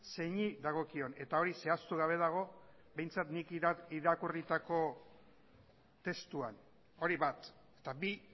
zeini dagokion eta hori zehaztu gabe dago behintzat nik irakurritako testuan hori bat eta bi